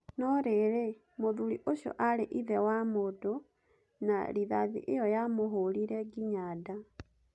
No rĩrĩ, mũthuri ũcio aarĩ ithe wa mũndũ, na rithathi ĩyo yamũhũũrire nginya nda.